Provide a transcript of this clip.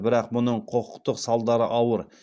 бірақ мұның құқықтық салдары ауыр